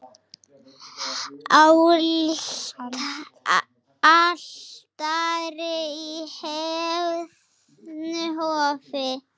Altari í heiðnu hofi.